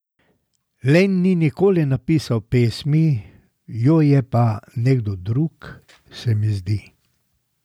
Len ni nikoli napisal pesmi, jo je pa nekdo drug, se mi zdi.